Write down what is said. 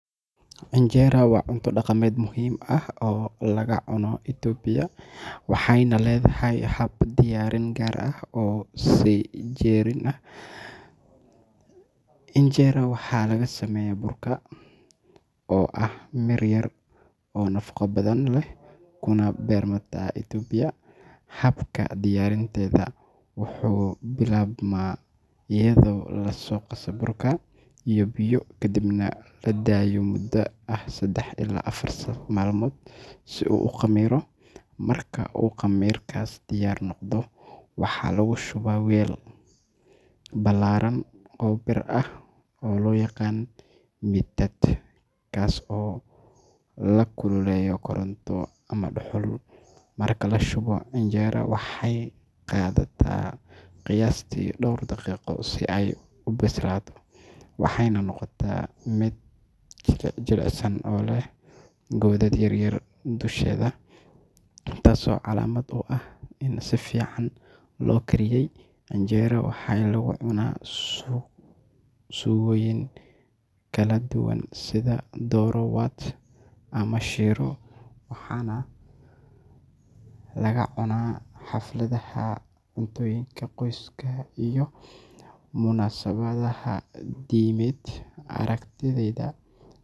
Injera waa cunto dhaqameed muhiim ah oo laga cuno Itoobiya waxayna leedahay hab diyaarin gaar ah oo soo jireen ah. Injera waxaa laga sameeyaa burka teff, oo ah mir yar oo nafaqo badan leh kuna beermata Itoobiya. Habka diyaarinteeda wuxuu bilaabmaa iyadoo la qaso burka teff iyo biyo, kadibna la daayo muddo ah saddex ilaa afar maalmood si uu u khamiiro. Marka uu khamiirkaas diyaar noqdo, waxaa lagu shubaa weel ballaaran oo bir ah oo loo yaqaan mitad, kaas oo la kululeeyo koronto ama dhuxul. Marka la shubo, injera waxay qaadataa qiyaastii dhowr daqiiqo si ay u bislaato waxayna noqotaa mid jilicsan oo leh godad yaryar dusheeda, taasoo calaamad u ah in si fiican loo kariyey. Injera waxaa lagu cunaa suugooyin kala duwan sida doro wat ama shiro, waxaana laga cunaa xafladaha, cuntooyinka qoyska iyo munaasabadaha diimeed. Aragtidayda.